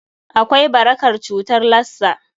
Akwai barakar cutar Lassa.